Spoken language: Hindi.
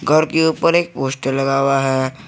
घर के ऊपर एक पोस्टर लगा हुआ है।